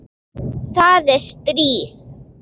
Það er stríð.